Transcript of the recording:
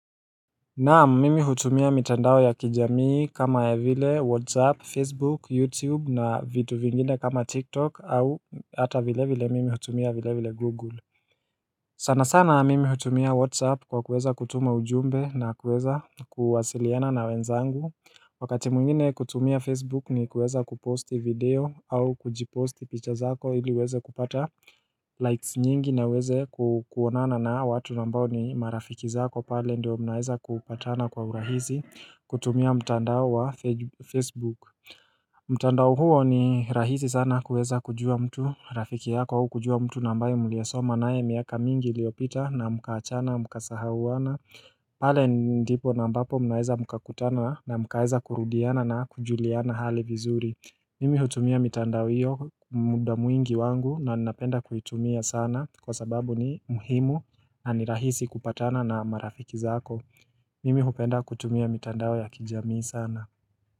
Naam mimi hutumia mitandao ya kijamii kama ya vile WhatsApp, Facebook, YouTube na vitu vingine kama TikTok au hata vile vile mimi hutumia vile vile Google. Sana sana mimi hutumia Whatsapp kwa kuweza kutuma ujumbe na kuweza kuwasiliana na wenzangu Wakati mwingine kutumia Facebook ni kuweza kuposti video au kujiposti picha zako ili uweze kupata likes nyingi na uweze kuonana na hawa watu ambao ni marafiki zako pale ndio mnaweza kupatana kwa urahisi kutumia mtandao wa Facebook mtandao huo ni rahisi sana kuweza kujua mtu Rafiki yako huu kujua mtu na ambayo mlie soma naye miaka mingi iliopita na mkaachana mkasahauana pale ndipo na ambapo mnaweza mkakutana na mkaweza kurudiana na kujuliana hali vizuri Mimi hutumia mitandao hiyo muda mwingi wangu na napenda kuitumia sana Kwa sababu ni muhimu na ni rahisi kupatana na marafiki zako Mimi hupenda kutumia mitandao ya kijamii sana.